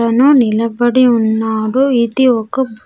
అతను నిలబడి ఉన్నారు ఇది ఒక.